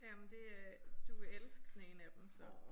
Jamen det øh du vil elske den ene af dem så